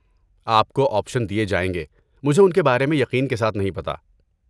آپ کو آپشن دیے جائیں گے مجھے ان کے بارے میں یقین کے ساتھ نہیں پتہ۔